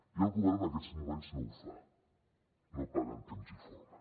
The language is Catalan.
i el govern en aquests moments no ho fa no paga en temps i forma